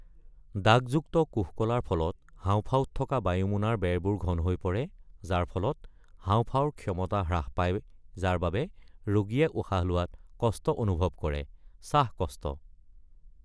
দাগযুক্ত কোষকলাৰ ফলত হাঁওফাঁওত থকা বায়ুমোনাৰ বেৰবোৰ ঘন হৈ পৰে, যাৰ ফলত হাওঁফাওঁৰ ক্ষমতা হ্ৰাস পায় যাৰ বাবে ৰোগীয়ে উশাহ লোৱাত কষ্ট অনুভৱ কৰে (শ্বাসকষ্ট)৷